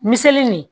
Me seli nin